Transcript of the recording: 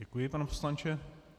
Děkuji, pane poslanče.